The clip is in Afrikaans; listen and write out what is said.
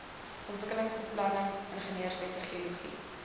ontwikkelingsbeplanning ingenieurswese geologie